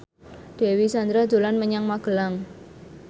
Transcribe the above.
Dewi Sandra dolan menyang Magelang